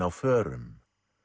á förum